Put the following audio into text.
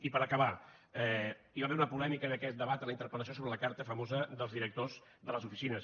i per acabar hi va haver una polèmica en aquest debat a la interpel·lació sobre la carta famosa dels directors de les oficines